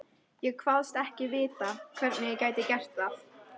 Ég kvaðst ekki vita, hvernig ég gæti gert það.